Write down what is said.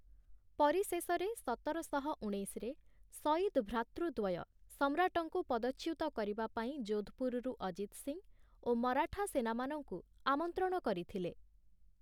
ପରିଶେଷରେ ସତର ଶହ ଉଣେଇଶରେ ସୟିଦ ଭ୍ରାତୃଦ୍ଵୟ ସମ୍ରାଟଙ୍କୁ ପଦଚ୍ୟୁତ କରିବା ପାଇଁ ଜୋଧପୁରରୁ ଅଜିତ୍ ସିଂ ଓ ମରାଠା ସେନାମାନଙ୍କୁ ଆମନ୍ତ୍ରଣ କରିଥିଲେ ।